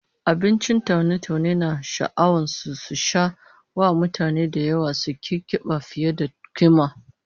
Abincin taune-taune na sha'awa sun sha jawo wa mutane da yawa suki kiba fiye da kima